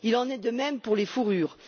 Il en est de même pour les fourrures.